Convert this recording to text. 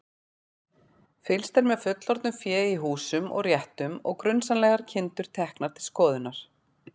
Fylgst er með fullorðnu fé í húsum og réttum og grunsamlegar kindur teknar til skoðunar.